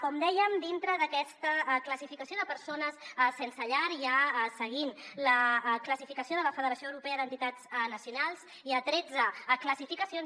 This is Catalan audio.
com dèiem dintre d’aquesta classificació de persones sense llar seguint la classificació de la federació europea d’entitats nacionals hi ha tretze classificacions